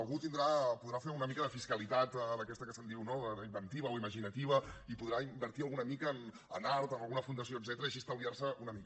algú podrà fer una mica de fiscalitat d’aquesta que se’n diu no inventiva o imaginativa i podrà invertir alguna mica en art en alguna fundació etcètera i així estalviar se una mica